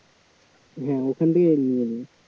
হ্যাঁ ওখান থেকে নিয়ে নিই